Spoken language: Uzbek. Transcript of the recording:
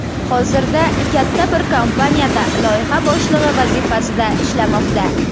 Hozirda katta bir kompaniyada loyiha boshlig‘i vazifasida ishlamoqda.